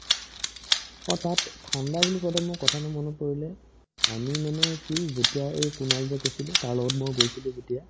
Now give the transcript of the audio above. অ, তাত ঠাণ্ডা বুলি কওতে মোৰ কথা এটা মনত পৰিলে আমি মানে কি যেতিয়া এই কুনাল যে কৈছিলো তাৰ লগত মই গৈছিলো যেতিয়া